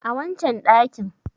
a wancan dakin